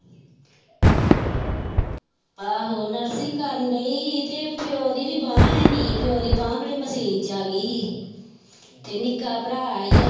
ਆਹੋ nursing ਕਰਨ ਡਈ ਸੀ ਤੇ ਪਿਓ ਦੀ ਵੀ ਬਾਂਹ ਹੈਨੀ ਪਿਓ ਦੀ ਬਾਂਹ ਖਰੇ ਮਸ਼ੀਨ ਚ ਆ ਗਈ ਸੀ ਤੇ ਨਿੱਕਾ ਭਰਾ ਸੀ ਉਹ